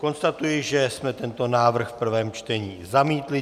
Konstatuji, že jsme tento návrh v prvém čtení zamítli.